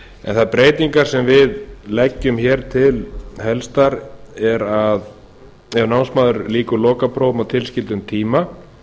en þær breytingar sem við leggjum hér til helstar er að ef námsmaður lýkur lokaprófum á tilskildum tíma